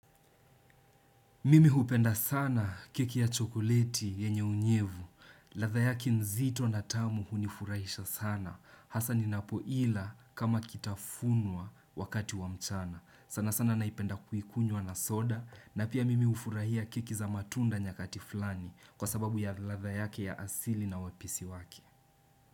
Mimi hupenda sana kiki ya chokoliti yenye unyevu. Ladha yake zito na tamu hunifurahisha sana. Hasa ninapoila kama kitafunwa wakati wa mchana. Sana sana naipenda kuikunywa na soda. Na pia mimi ufurahia keki za matunda nyakati flani. Kwa sababu ya ladha yake ya asili na wapisi wake.